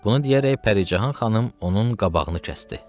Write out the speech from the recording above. Bunu deyərək Pəricahan xanım onun qabağını kəsdi.